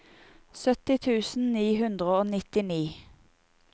sytti tusen ni hundre og nittini